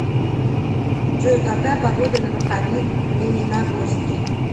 джой какая погода на выходных в лениногорске